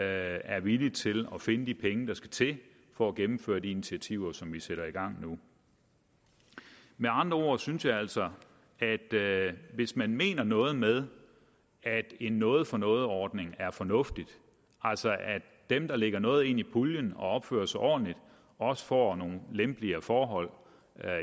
er villige til at finde de penge der skal til for at gennemføre de initiativer som vi sætter i gang nu med andre ord synes jeg altså at hvis man mener noget med at en noget for noget ordning er fornuftig altså at dem der lægger noget ind i puljen og opfører sig ordentligt også får nogle lempeligere forhold